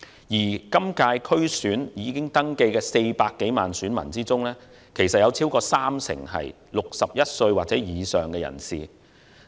在本屆區選已登記的400多萬名選民中，有超過三成是61歲或以上人士。